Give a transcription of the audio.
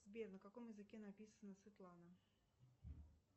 сбер на каком языке написана светлана